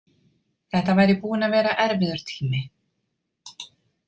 Þetta væri búinn að vera erfiður tími.